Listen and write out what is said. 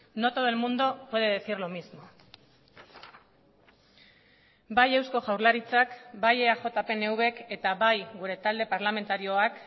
no todo el mundo puede decir lo mismo bai eusko jaurlaritzak bai eaj pnvk eta bai gure talde parlamentarioak